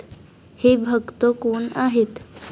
हे भक्त कोण आहेत?